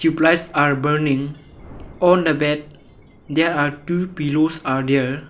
Tube lights are burning on the bed there are two pillows are there.